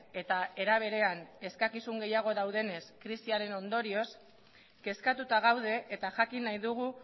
eta era berean eskakizun gehiago daudenez krisiaren ondorioz kezkatuta gaude eta jakin nahi dugu